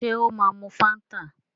Ṣé ó máa mu Fáńtà?